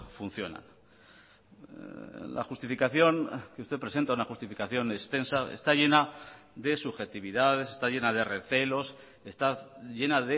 funcionan la justificación que usted presenta una justificación extensa está llena de subjetividades está llena de recelos está llena